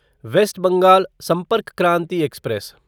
waste Bengal Sampark Kranti express